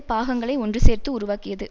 பாகங்களை ஒன்று சேர்த்து உருவாக்கியது